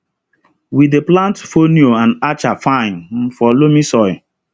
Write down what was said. we dey plant fonio and acha fine um for loamy soil